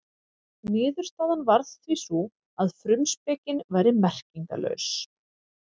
Niðurstaðan varð því sú að frumspekin væri merkingarlaus.